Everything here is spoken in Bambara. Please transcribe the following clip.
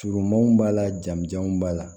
Surumanw b'a la jamujanw b'a la